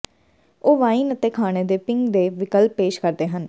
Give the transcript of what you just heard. ਉਹ ਵਾਈਨ ਅਤੇ ਖਾਣੇ ਦੇ ਪਿੰਗ ਦੇ ਵਿਕਲਪ ਪੇਸ਼ ਕਰਦੇ ਹਨ